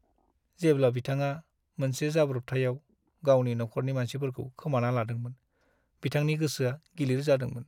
जेब्ला बिथाङा मोनसे जाब्रबथायाव गावनि न'खरनि मानसिफोरखौ खोमाना लादोंमोन, बिथांनि गोसोआ गिलिर जादोंमोन ।